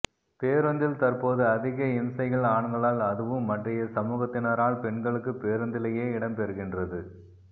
பேருந்தில் தற்போது அதிக இம்சைகள் ஆண்களால் அதுவும் மற்றைய சமூகத்தினாரால் பெண்களுக்கு பேரூந்திலியே இடம் பெறுகின்றது